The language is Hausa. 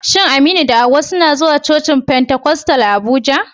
Shin Aminu da Hawwa suna zuwa cocin Pentecostal a Abuja?